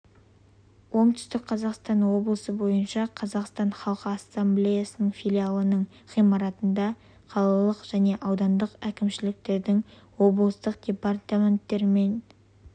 оңтүстік қазақстан облысы бойынша қазақстан халқы ассамблеясы филиалының ғимаратында қалалық және аудандық әкімшіліктерінің облыстық департаменттері мен